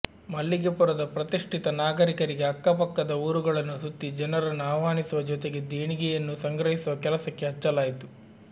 ಮಲ್ಲಿಗೆಪುರದ ಪ್ರತಿಷ್ಠಿತ ನಾಗರಿಕರಿಗೆ ಅಕ್ಕ ಪಕ್ಕದ ಊರುಗಳನ್ನು ಸುತ್ತಿ ಜನರನ್ನು ಅವ್ಹಾನಿಸುವ ಜೊತೆಗೆ ದೇಣಿಗೆಯನ್ನೂ ಸಂಗ್ರಹಿಸುವ ಕೆಲಸಕ್ಕೆ ಹಚ್ಚಲಾಯಿತು